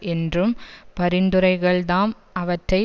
என்றும் பரிந்துரைகள்தாம் அவற்றை